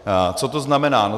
Co to znamená?